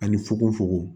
Ani fukofukon